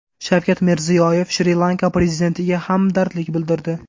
Shavkat Mirziyoyev Shri-Lanka prezidentiga hamdardlik bildirdi.